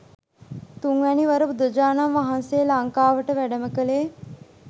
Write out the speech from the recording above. තුන්වැනි වර බුදුරජාණන් වහන්සේ ලංකාවට වැඩම කළේ